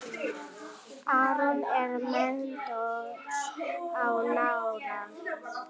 Aron er meiddur á nára.